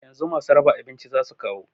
Yanzu masu raba abinci zasu kawo